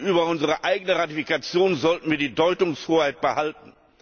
Über unsere eigene Ratifikation sollten wir die Deutungshoheit behalten.